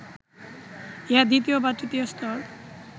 ইহা দ্বিতীয় বা তৃতীয় স্তর